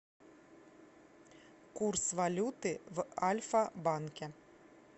курс валюты в альфа банке